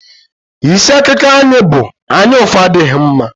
Isi akụkọ anyị bụ "Anyaụfụ adịghị mma"